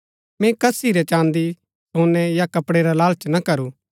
मैंई कसी रै चाँदी सोनै या कपडै रा लालच ना करू